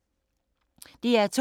DR2